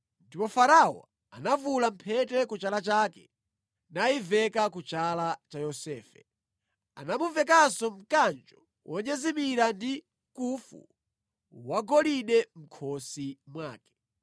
Ndipo Farao anavula mphete ku chala chake nayiveka ku chala cha Yosefe. Anamuvekanso mkanjo wonyezimira ndi nkufu wagolide mʼkhosi mwake.